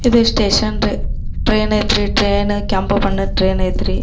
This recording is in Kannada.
ಇದು ಸ್ಟೇಷನ್ ದು ಟ್ರೈನ್ ಐತ್ ರೀ ಟ್ರೈನ್ ಕೆಂಪು ಬಣ್ಣದ್ ಟ್ರೈನ್ ಐತ್ ರೀ.